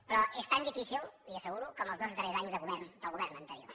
però és tan difícil li ho asseguro com els dos darrers anys de govern del govern anterior